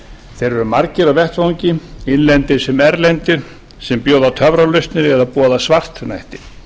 þeir eru margir á vettvangi innlendir sem erlendir sem bjóða töfralausnir eða boða svartnætti